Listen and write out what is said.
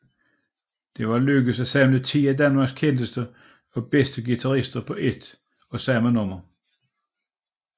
Det var lykkedes at samle ti af Danmarks kendteste og bedste guitarister på ét og samme nummer